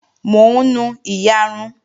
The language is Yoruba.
Mò ń nu iyarun